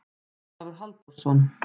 Ólafur Halldórsson.